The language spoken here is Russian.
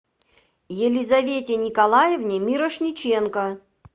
елизавете николаевне мирошниченко